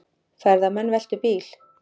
Ferðamenn veltu bíl